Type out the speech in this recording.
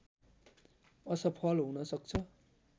असफल हुन सक्छ